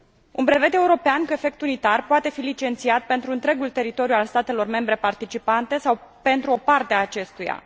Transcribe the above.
Un brevet european perfect unitar poate fi licențiat pentru întregul teritoriu al statelor membre participante sau pentru o parte a acestuia.